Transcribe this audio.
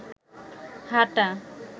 হাটা